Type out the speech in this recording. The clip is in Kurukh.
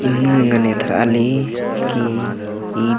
इन्नू ऐंग़न एथरा ली कि ईद--